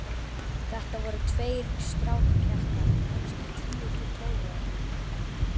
Þetta voru tveir strákpjakkar, kannski tíu til tólf ára.